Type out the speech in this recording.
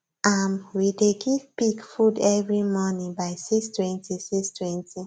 um we dey give pig food every morning by 6;20 6;20